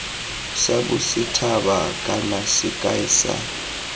sa bosethaba kana sekai sa